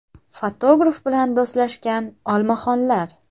Fotograf bilan do‘stlashgan olmaxonlar .